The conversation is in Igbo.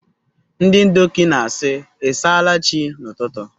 Ndị Ndoki na-asị “I s’ala Chi” n’ụtụtụ.